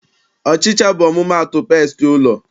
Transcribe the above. Ọchịcha bụ ọmụmaatụ pestị ụlọ.